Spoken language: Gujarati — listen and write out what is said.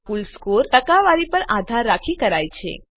આ કુલ સ્કોર ટકાવારી પર આધાર રાખી કરાય છે